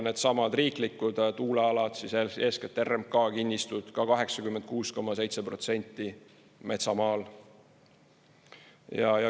Needsamad riiklikud tuulealad, eeskätt RMK kinnistud – ka 86,7% metsamaal.